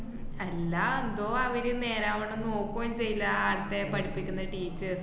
അല്ലാ എന്തോ അവര് നേരാവണ്ണം നോക്ക്വേം ചെയ്യില്ല, ആടത്തെ പഠിപ്പിക്കുന്നെ teachers